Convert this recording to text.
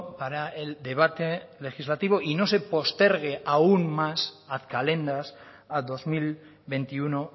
para el debate legislativo y no se postergue aún más ad calendas a dos mil veintiuno